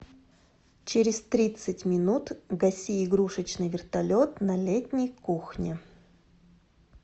через тридцать минут гаси игрушечный вертолет на летней кухне